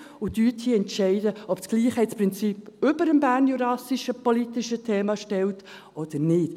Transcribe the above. Und entscheiden Sie hier, ob das Gleichheitsprinzip über dem bernjurassischen politischen Thema steht oder nicht.